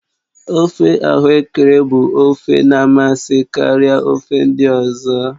ofe ahuekere bụ ofe na amasị karịa ofe ndị ọzọ